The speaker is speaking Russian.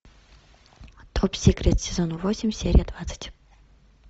топ сикрет сезон восемь серия двадцать